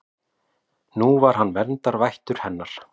Nú var hann verndarvættur hennar.